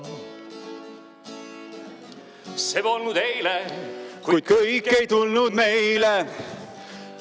See polnud eile, kuid kõik ei tulnud meile.